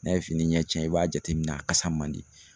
N'a ye fini ɲɛ tiɲɛ i b'a jateminɛ a kasa man di.